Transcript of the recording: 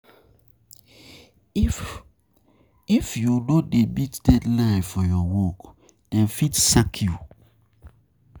If you no dey meet deadline for your work, dem fit sack you.